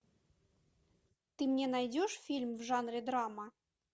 ты мне найдешь фильм в жанре драма